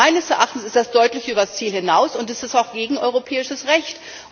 Meines Erachtens geht das deutlich übers Ziel hinaus, und es ist auch gegen europäisches Recht.